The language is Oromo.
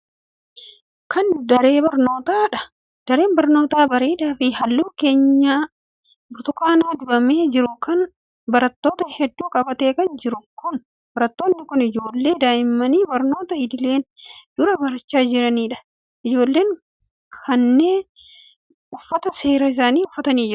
Kun, daree barnootaa dha. Daree barnootaa bareedaa fi haalluu keenyaa burtukaana dibamee jiru kun barattoota hedduu qabatee kan jiru kun, barattoonni kun ijoollee daa'immanii barnoota idileen duraa barachaa jiranii dha. Ijoolleen kunneeb, uffata seeraa isaanii uffatanii jiru.